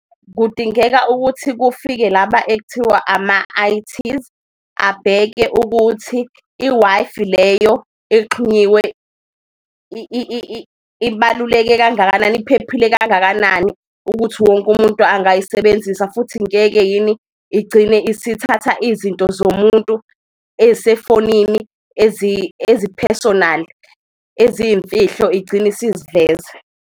Kudingeka ukuthi kufike laba ekuthiwa ama-I_Ts abheke ukuthi i-Wi-Fi leyo exhunyiwe ibaluleke kangakanani, iphephile kangakanani ukuthi wonke umuntu angayisebenzisa. Futhi ngeke yini igcine isithatha izinto zomuntu eyisefonini, eziphesonali, eziyimfihlo igcine isiziveza.